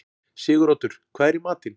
Siguroddur, hvað er í matinn?